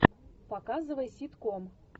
показывай ситком